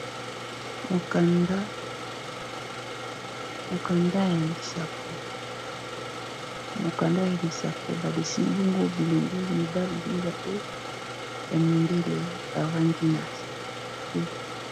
Mokanda ya lisapo ba dessine bongo bilenge mibali mibale ya mindele bavandi na se.